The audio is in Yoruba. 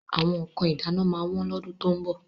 Àwọn nǹkan ìdáná máa wọ́n lọ́dún tó ń bọ̀.